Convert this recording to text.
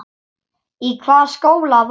Í hvaða skóla varstu?